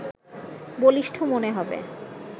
বলিষ্ঠ মনে হবে